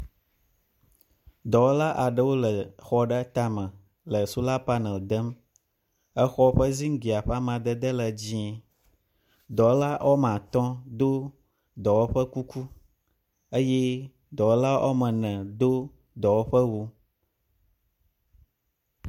Dɔwɔla aɖewo le xɔ aɖe tame le sola panel dem. Exɔ ƒe ziglia ƒe amadede le dzie. Dɔwɔla wɔme atɔ do dɔwɔƒe ƒe kuku eye dɔwɔla wɔme ene do dɔwɔƒewu.